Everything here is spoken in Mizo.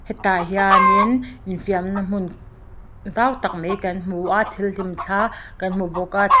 a piah chiah hian intih fainal tur bual in te chuan thingpui lum na tur--